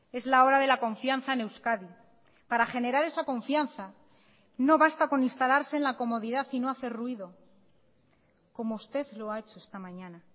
es la hora de la confianza en euskadi para generar esa confianza no basta con instalarse en la comodidad y no hacer ruido como usted lo ha hecho esta mañana